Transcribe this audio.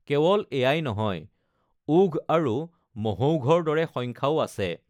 কেৱল এয়াই নহয়, ওঘ আৰু মহৌঘৰ দৰে সংখ্যাও আছে।